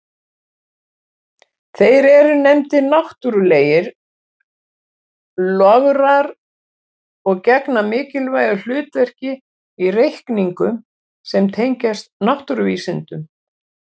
Þeir eru nefndir náttúrlegir lograr og gegna mikilvægu hlutverki í reikningum sem tengjast náttúruvísindum.